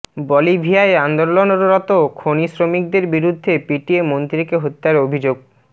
বলিভিয়ায় আন্দোলনরত খনি শ্রমিকদের বিরুদ্ধে পিটিয়ে মন্ত্রীকে হত্যার অভিযোগ